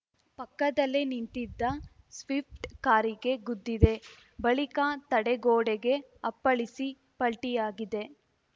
ಪಕ್ಕದಲ್ಲೇ ನಿಂತಿದ್ದ ಸ್ವಿಫ್ಟ್‌ ಕಾರಿಗೆ ಗುದ್ದಿದೆ ಬಳಿಕ ತಡೆಗೋಡೆಗೆ ಅಪ್ಪಳಿಸಿ ಪಲ್ಟಿಯಾಗಿದೆ